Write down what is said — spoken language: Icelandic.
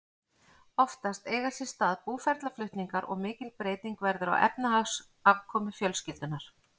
Oftast eiga sér stað búferlaflutningar og mikil breyting verður á efnahagsafkomu fjölskyldunnar.